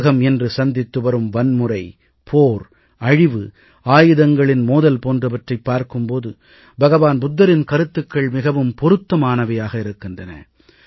உலகம் இன்று சந்தித்து வரும் வன்முறை போர் அழிவு ஆயுதங்களின் மோதல் போன்றவற்றைப் பார்க்கும் போது பகவான் புத்தரின் கருத்துக்கள் மிகவும் பொருத்தமானவையாக இருக்கின்றன